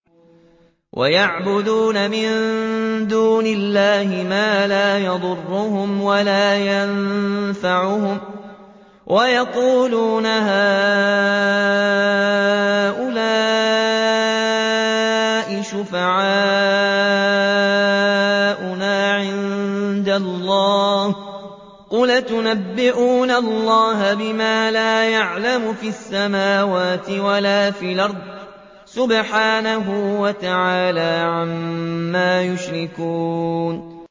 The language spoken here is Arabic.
وَيَعْبُدُونَ مِن دُونِ اللَّهِ مَا لَا يَضُرُّهُمْ وَلَا يَنفَعُهُمْ وَيَقُولُونَ هَٰؤُلَاءِ شُفَعَاؤُنَا عِندَ اللَّهِ ۚ قُلْ أَتُنَبِّئُونَ اللَّهَ بِمَا لَا يَعْلَمُ فِي السَّمَاوَاتِ وَلَا فِي الْأَرْضِ ۚ سُبْحَانَهُ وَتَعَالَىٰ عَمَّا يُشْرِكُونَ